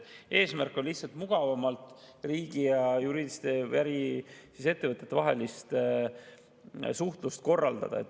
Eesmärk on lihtsalt mugavamalt riigi ja juriidiliste ettevõtete vahelist suhtlust korraldada.